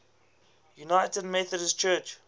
united methodist church